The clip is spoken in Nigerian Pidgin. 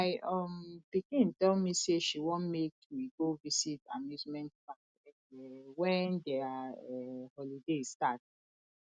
my um pikin tell me say she wan make we go visit amusement park um wen their um holiday start